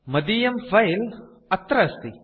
मदीयं फिले अत्र अस्ति